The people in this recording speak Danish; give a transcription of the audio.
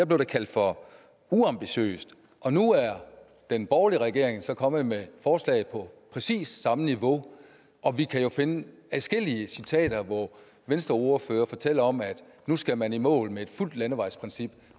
blev det kaldt for uambitiøst og nu er den borgerlige regering så kommet med forslag på præcis samme niveau og vi kan jo finde adskillige citater hvor venstreordførere fortæller om at nu skal man i mål med et fuldt landevejsprincip